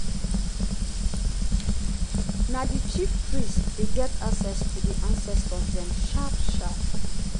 for village square di old man dey sing praises to di ancestors.